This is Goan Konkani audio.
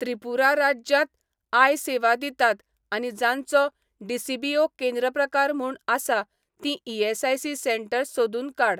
त्रिपुरा राज्यांत आय सेवा दितात आनी जांचो डीसीबीओ केंद्र प्रकार म्हूण आसा तीं ईएसआयसी सेंटर्स सोदून काड.